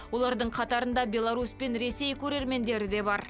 олардың қатарында беларусь пен ресей көрермендері де бар